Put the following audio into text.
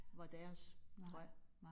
Var deres drøm